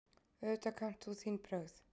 Auðvitað kannt þú þín brögð.